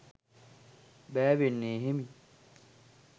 බෑවෙන්නේ හෙමින්.